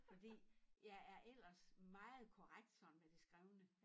Fordi jeg er ellers meget korrekt sådan med det skrevne